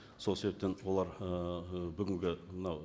сол себептен олар ыыы бүгінгі мынау